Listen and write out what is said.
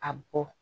A bɔ